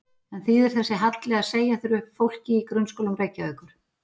En þýðir þessi halli að segja þurfi upp fólki í grunnskólum Reykjavíkur?